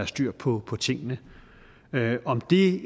styr på på tingene om det